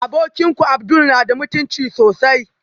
Abokinku abdul yana da mutunci sosai